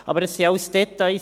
Aber das sind alles Details.